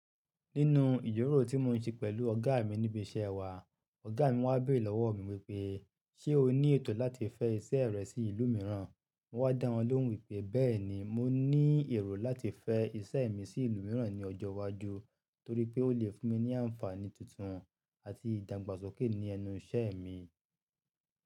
Nínú ìjíròrò tí mo ń ṣe pẹ̀lú ọ̀gá mi níbi iṣẹ́ wa, ọ̀gá mi wá béèrè lọ́wọ́ mi wípé, "ṣé o ní ètò láti fẹ́ iṣẹ́ rẹ sí ìlú mìíràn?" Mo wá dá wọn lóhùn wípé, "bẹ́ẹ̀ni, mo ní èrò láti fẹ́ iṣẹ́ mi sí ìlú mìíràn ní ọjọ́ iwájú, torí pé ó lè fún mi ní àǹfààní tuntun àti ìdàgbàsókè ní ẹnu iṣẹ́ mi."